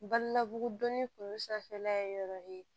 Balimamusodonni kun sanfɛla ye yɔrɔ ye